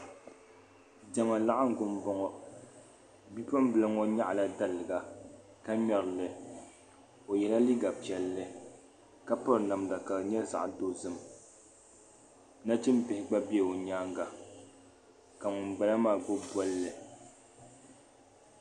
diɛma laɣingu m boŋɔ bipuɣim bila ŋɔ nyaɣala daliga ka ŋmerili o yela liiga piɛlli ka piri namda ka di nyɛ zaɣa dozim nachimbihi gba be o nyaaŋa ka ŋun bala maa gbibi bolli